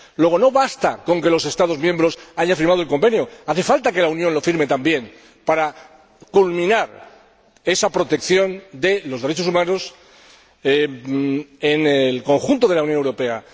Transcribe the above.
Luego, no basta con que los Estados miembros hayan firmado el Convenio, hace falta que la Unión lo firme también para culminar esa protección de los derechos humanos en el conjunto de la Unión Europea.